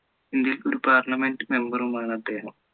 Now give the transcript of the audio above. ഇന്ത്യയിൽ ഒരു Parliament member യം ആണ് അദ്ദേഹം